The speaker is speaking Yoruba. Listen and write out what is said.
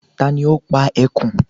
Ta ni ó pa ẹkùn?